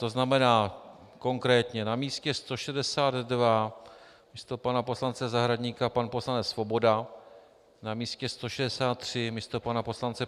To znamená konkrétně: na místě 162 místo pana poslance Zahradníka pan poslanec Svoboda, na místě 163 místo pana poslance